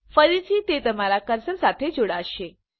ફરીથી તે તમારા કર્સર સાથે જોડાશે